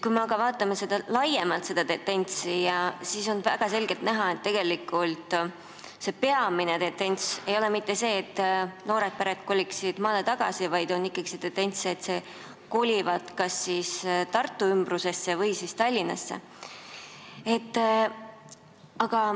Kui me aga vaatame laiemat pilti, siis on väga selgelt näha, et tegelikult pole peamine tendents mitte see, et noored pered kolivad maale, vaid nad kolivad kas Tartu ümbrusesse või siis Tallinnasse.